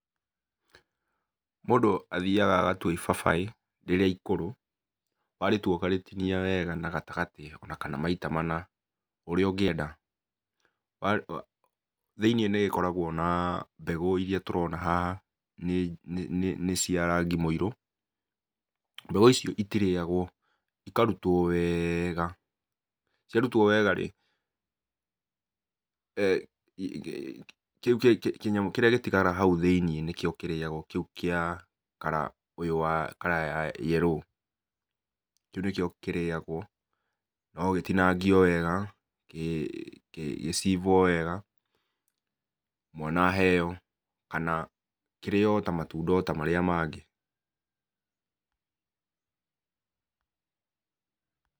Mũndũ athiyaga agatua ibabaĩ rĩrĩa ikũrũ, warĩtua ũkarĩtinia wega na gatagatĩ ona kana maita mana, ũrĩa ũngĩenda. Thĩinĩ n ĩrĩkoragwo na mbegũ iria tũrona haha, nĩcia rangi mũirũ mbegũ icio itirĩyagwo, ikarutwo wega, ciarutwo wega-rĩ, kĩnyamũ kĩrĩa gĩtigaraga hau thĩinĩ kĩu gĩa kara ũyũ wa yerũ. Kĩu nĩkĩo kĩrĩyagwo, no gĩtinangio wega, gĩcibwo wega mwana aheo, kana kĩrĩyo ota matunda marĩa mangĩ.